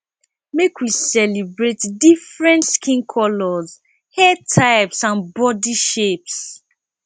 make we celebrate different skin colors hair types and bodi shapes